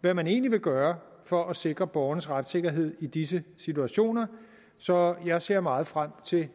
hvad man egentlig vil gøre for at sikre borgernes retssikkerhed i disse situationer så jeg ser meget frem til